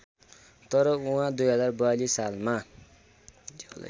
तर उहाँ २०४२ सालमा